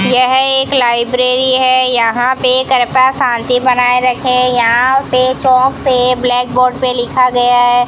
यह एक लाइब्रेरी है यहां पे कृपा शांति बनाए रखें यहां पे चौक पे ब्लैक बोर्ड पे लिखा गया है।